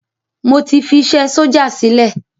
Mo ti fi isé sójà sílẹ̀